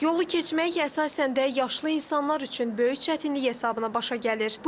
Yolu keçmək əsasən də yaşlı insanlar üçün böyük çətinlik hesabına başa gəlir.